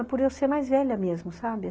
É por eu ser mais velha mesmo, sabe?